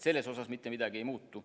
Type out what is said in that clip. Selles osas mitte midagi ei muutu.